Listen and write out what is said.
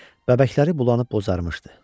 bəbəkləri bulanıb bozarmışdı.